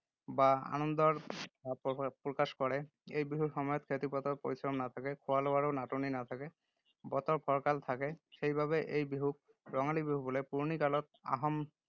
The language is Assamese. বা আনন্দৰ ভাব প্ৰকাশ কৰে। এই বিহুৰ সময়ত খেতি-পথাৰত পৰিশ্ৰম নাথাকে, খোৱা-লোৱাৰো নাটনি নাথাকে, বতৰ ফৰকাল থাকে। সেইবাবে এই বিহুক ৰঙালী বিহু বোলে। পুৰণি কালত আহোম